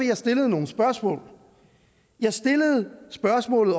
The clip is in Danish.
jeg stillede nogle spørgsmål jeg stillede spørgsmålene